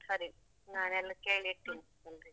ಸರಿ ನಾನು ಎಲ್ಲ ಕೇಳೀಡ್ತೇನೆ ಎಲ್ರಿಗೂ.